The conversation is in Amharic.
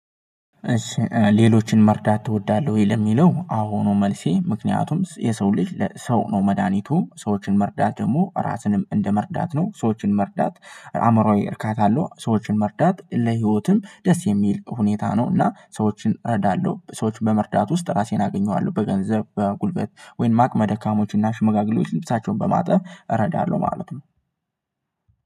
ሌሎችን መርዳት ትወዳለህ ወይ? ለሚለው አዎ ነው መልሴ ምክንያቱም የሰው ልጅ ሰው ነው መድሃኒቱ ሰዎችን መርዳት ደግሞ ራስንም እንደመርዳት ነው ሰዎችን መርዳት። አእምሯዊ እርካታ አለው ሰዎችን መርዳት ለህይወትም ደስ የሚል ሁኔታ ነው። እና ሰዎችን እረዳለሁ ሰዎችን በመርዳት ውስጥ ራሴን አገኘዋለሁ። በገንዘብ በጉልበት ወይም አቅመ ደካሞች እና ሽመጋግሌዎች ልብሳቸውን በማጠብ እረዳለሁ ማለት ነው።